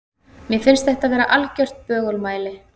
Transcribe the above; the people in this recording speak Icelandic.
Mér finnst þetta vera algert bögumæli.